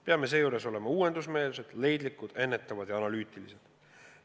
Peame seejuures olema uuendusmeelsed, leidlikud, ennetavad ja analüütilised.